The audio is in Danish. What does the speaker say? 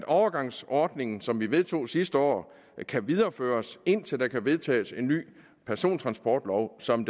overgangsordning som vi vedtog sidste år kan videreføres indtil der kan vedtages en ny persontransportlov som